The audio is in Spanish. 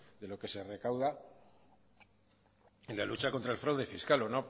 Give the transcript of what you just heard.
de lo que se recauda en la lucha contra el fraude fiscal o